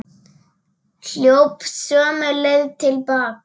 Hljóp sömu leið til baka.